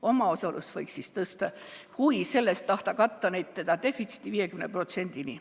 Omaosalust võiks siis tõsta, kui sellest tahta katta seda defitsiiti kuni 50%‑ni.